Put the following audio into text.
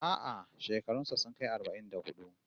A'a, shekarun sa sun kai arba'in da hudu